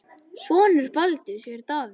Sonur Baldurs er Davíð.